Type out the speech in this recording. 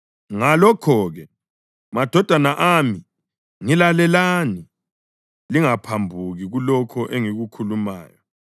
Ngalokho-ke, madodana ami, ngilalelani; lingaphambuki kulokho engikukhulumayo.